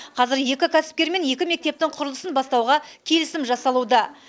қазір екі кәсіпкермен екі мектептің құрылысын бастауға келісім жасалуда